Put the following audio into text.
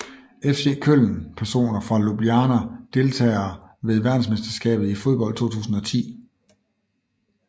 FC Köln Personer fra Ljubljana Deltagere ved verdensmesterskabet i fodbold 2010